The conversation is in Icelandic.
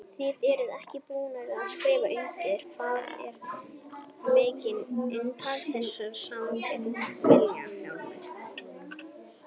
Þið eruð ekki búnir að skrifa undir, hvað er megin inntak þessara samninga Vilhjálmur?